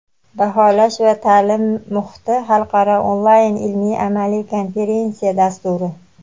baholash va ta’lim muhiti xalqaro onlayn ilmiy-amaliy konferensiya dasturi.